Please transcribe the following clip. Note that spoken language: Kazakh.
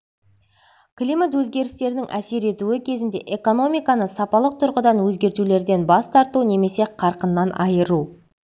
климат өзгерістерінің әсер етуі кезінде экономиканы сапалық тұрғыдан өзгертулерден бас тарту немесе қарқыннан айыру